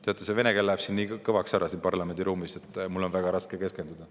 Teate, see vene keel läheb liiga kõvaks siin parlamendiruumis, nii et mul on väga raske keskenduda.